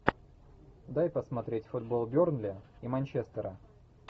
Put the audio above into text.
дай посмотреть футбол бернли и манчестера